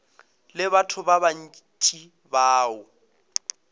le batho ba bantši bao